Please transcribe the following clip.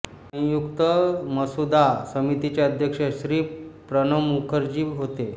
संयुक्त मसुदा समितीचे अध्यक्ष श्री प्रणब मुखर्जी होते